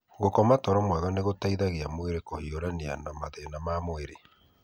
Gũkoma toro mwega nĩ gũteithagia mwĩrĩ kũhiũrania na mathĩna ma mwĩrĩ.